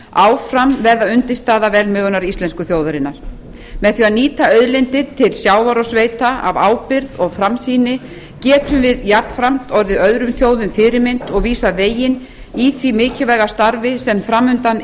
áfram verða undirstaða velmegunar íslensku þjóðarinnar með því að nýta auðlindir til sjávar og sveita af ábyrgð og framsýni getum við jafnframt orðið öðrum þjóðum fyrirmynd og vísað veginn í því mikilvæga starfi sem framundan er